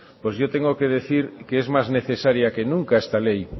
pues yo tengo que decir que es más necesaria que nunca esta ley